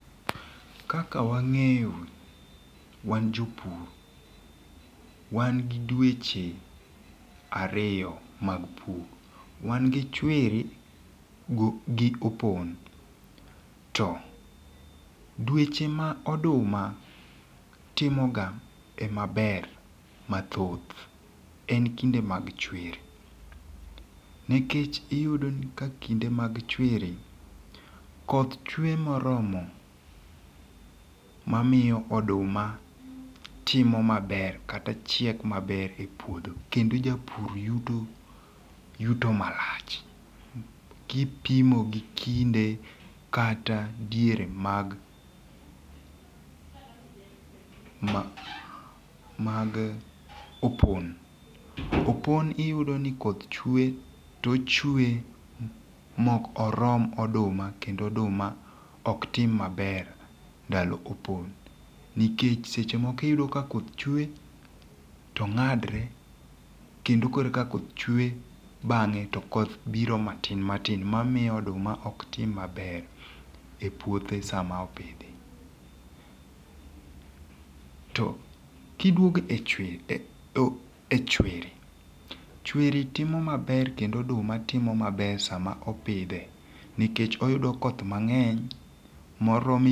Kaka wang'eyo wan jopur wan gi dweche ariyo mag pur. Wan gi chwiri go gi opon. To dweche ma oduma timo ga e maber mathoth e Nkinde mag chwiri. Nikech iyudo ni ka kinde mag chwiri, koth chwe moromo ma miyo oduma timo maber kata chiek maber e puodho kendo japur yuto yuto marach kipimo gi kinde kata diere mag ma mag opon. Opon iyudo ni koth chwe to ochwe mok orom oduma kendo oduma ok tim maber ndalo opon nikech seche moko iyudo ka koth chwe to ng'adre kendo korka koth chwe bang'e to koth biro matin matin mamiyo oduma ok tim maber e puothe sama opidhi. To kiduogo e chwiri, e chwiri, chriwi timo maber kendo oduma timo maber sama opidhe nikech oyudo koth mang'eny morome.